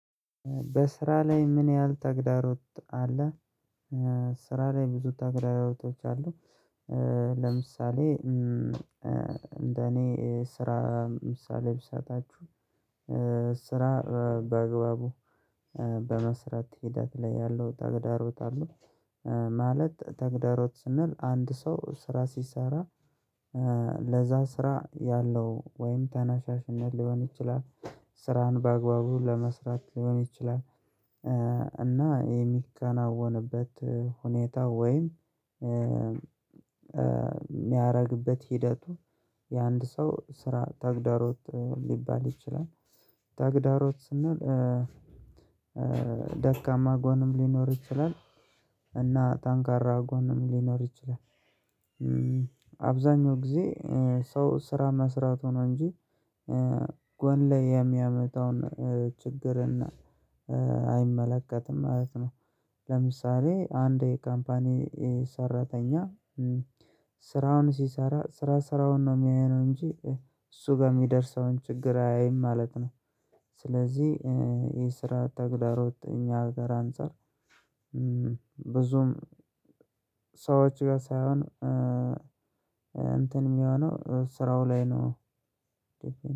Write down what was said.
በስራ ላይ ምን ያህል ተግዳሮት አለ? በስራ ላይ ብዙ ተግዳሮቶች አሉ ለምሳሌ እንደ እኔ ስራ ምሳሌ ብሰጣችሁ ስራ ባግባቡ በመስራት ሂደት ላይ ያለው ተግዳሮት አለ ማለት ተግዳሮት ስንል አንድ ሰው ስራ ሲሰራ ለዚያ ስራ ያለው ወይም ተነሳሽነት ሊሆን ይችላል፣ ስራን በአግባቡ ለመስራት ሊሆን ይችላል፣ እና የሚከናወንበት ሁኔታ ወይም የሚያደርግበት ሂደቱ የአንድ ሰው ስራ ተግዳሮት ሊባል ይችላል። ተግዳሮት ስንል ደካማ ጎንም ሊኖር ይችላል እና ጠንካራ ጎንም ሊኖር ይችላል አብዛኛውን ጊዜ ሰው ስራ መስራትን እንጂ ጎን ላይ የሚያመጣውን ችግር እና አይመለከትም ማለት ነው። ለምሳሌ አንድ ካምፓኒ ሰራተኛ ስራውን ሲሰራ ስራ ስራውን ነው የሚያየው እንጂ እሱ ጋር የሚደርሰውን ችግር አያይም ማለት ነው። ስለዚህ የስራ ተግዳሮት የእኛ ሀገር አንፃር ብዙም ሰዎች ጋር ሳይሆን እንትን የሚሆነው ስራው ላይ ነው።